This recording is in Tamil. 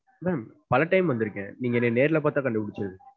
Ma'am பல time வந்துருக்கேன். நீங்க என்ன நேர்ல பாத்தா கண்டுபிடிச்சுருவீங்க.